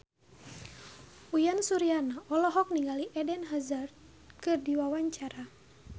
Uyan Suryana olohok ningali Eden Hazard keur diwawancara